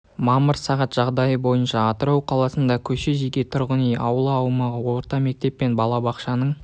мамыр сағат жағдайы бойынша атырау қаласында көше жеке тұрғын үй аула аумағы орта мектеп пен балабақшаның